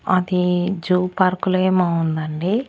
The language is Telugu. అది జూ పార్కులో ఏమో ఉందండి.